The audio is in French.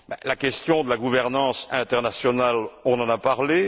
La question de la gouvernance internationale, on en a parlé.